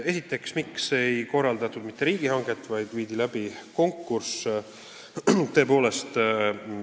Esiteks: miks ei korraldatud riigihanget, vaid viidi läbi konkurss?